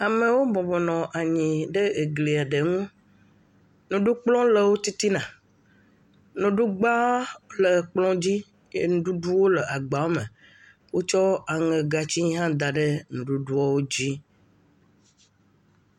Amewo bɔbɔ nɔ anyi ɖe egliɛ ɖe ŋu. Nuɖukplɔ̃ le wo titina. Nuɖugba le kplɔ̃ dzi. Nuɖuɖu le agbawome. Wotsɔ aŋɛgatsi da ɖe nuɖuɖuɔ wo dzi.